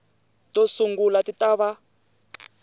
to sungula ti ta va